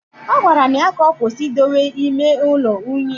Agwara m ya ka ọkwụsị idowe ime ụlọ unyi